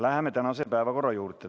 Läheme tänase päevakorra juurde.